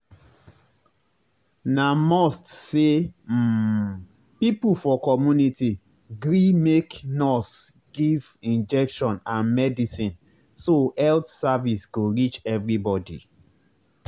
na must say um people for community gree make nurse give injection and medicine so health service go reach everybody.